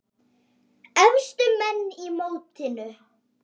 Efstu menn í mótinu